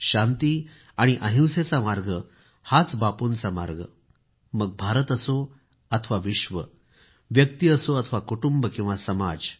शांती आणि अहिंसेचा मार्ग हाच बापूंचा मार्ग मग भारत असो अथवा दुनिया व्यक्ती असो अथवा कुटुंब किंवा समाज